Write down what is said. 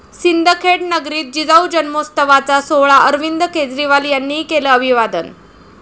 सिंदखेड नगरीत जिजाऊ जन्मोत्सवाचा सोहळा, अरविंद केजरीवाल यांनीही केलं अभिवादन